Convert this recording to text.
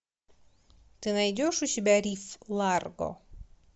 ты найдешь у себя риф ларго